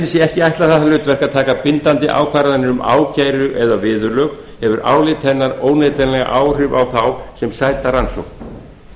sé ekki ætlað það hlutverk að taka bindandi ákvarðanir um ákæru eða viðurlög hefur álit hennar óneitanlega áhrif á þá sem sæta rannsókn